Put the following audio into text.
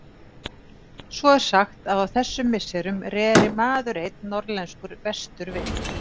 Svo er sagt að á þessum misserum reri maður einn norðlenskur vestur við